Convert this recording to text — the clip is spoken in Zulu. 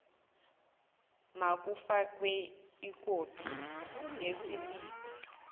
makufakwe ikopi yesiliphu